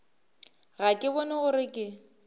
ga ke bone gore ke